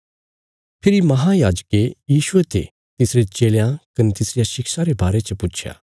फेरी महायाजके यीशुये ते तिसरे चेलयां कने तिसरिया शिक्षा रे बारे च पुच्छया